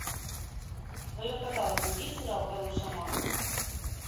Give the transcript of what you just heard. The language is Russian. в твоем каталоге есть сериал король шаманов